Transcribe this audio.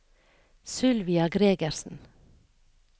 Sylvia Gregersen